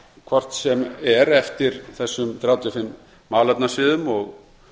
hvort sem er eftir þessum þrjátíu og fimm málefnasviðum og